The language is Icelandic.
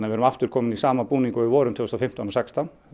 við erum aftur komin í sama búning og við vorum tvö þúsund og fimmtán og sextán